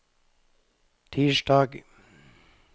tirsdag